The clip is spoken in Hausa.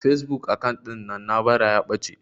Fasebuk akant ɗin na na bara ya ɓace